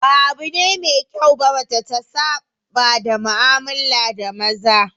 Ba abu ne mai kyau ba mace ta saba da mu'amala da maza